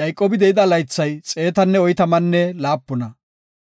Yayqoobi de7ida laythay xeetanne oytamanne laapuna.